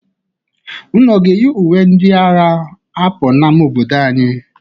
Unu ga-eyi uwe ndị a agha apụ n'ama obodo anyị?